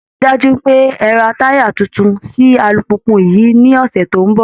Ẹ rí i dájú pé ẹ ra táyà tuntun sí alùpùpù yìí ní ọ̀sẹ̀ tó ń bọ̀!